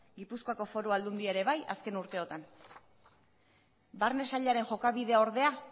gipuzkoako foru aldundia ere bai azken urteotan barne sailaren jokabidea ordea